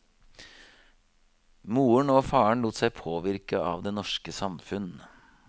Moren og faren lot seg påvirke av det norske samfunn.